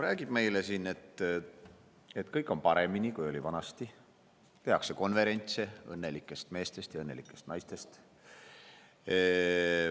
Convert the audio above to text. Räägib meile siin, et kõik on paremini, kui oli vanasti, tehakse konverentse õnnelikest meestest ja õnnelikest naistest.